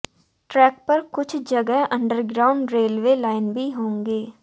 track पर कुछ जगह अंडरग्राउंड रेलवे लाइन भी होगी